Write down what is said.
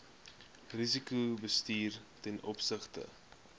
risikobestuur ten opsigte